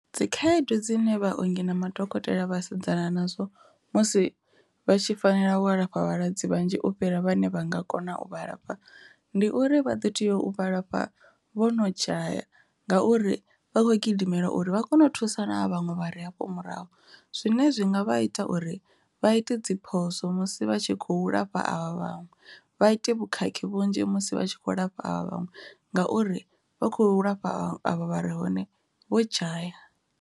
Dzikhaedu dzine vhaongi na madokotela vhasedzana nadzo musi vha tshi fanela u alafha vhalwadze vhanzhi u fhira vhane vha nga kona u vhalafha, ndi uri vha ḓo tea u vhalafha vho no dzhaya ngauri vha khou gidimela uri vha kone u thusa na vhaṅwe vha ri hafho murahu zwine zwi nga vha ita uri vha ite dzi phoso musi vha tshi khou lafha avha vhaṅwe, vha ite vhukhakhi vhunzhi musi vha tshi kho lafha vha vhaṅwe ngauri vha khou lafha avha vhare hone vho dzhaya.